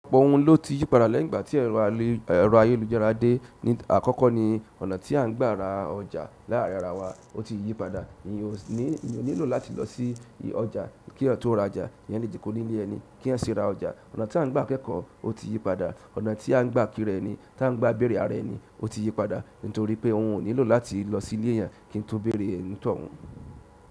Ọ̀pọ̀ ohun ló ti yípadà lẹ́yìn ìgbà tí ẹ̀rọ ayélujára dé. Ni àkọ́kọ́ ni ọ̀nà tí à ń gbà ra ọjà láàárín ara wa ó ti yípadà. Èyí ò nílò láti lọ sí ọjà kí yan tó ra ọjà. Èyán le joko nilẹ ẹni ki eyan si ra ọjà. Ọ̀nà tí a ń gbà kẹ́kọ̀ọ́ ó ti yípadà. Ọ̀nà tí a ń gbà kíra ẹni, tí a ń gbà bẹ̀rẹ̀ ara ẹni ó ti yípadà. Nítorí pé òun ò nílò láti lọ sí ilé eyan kí n tó bẹ̀rẹ̀ ẹni tó hun.